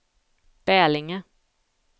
Bälinge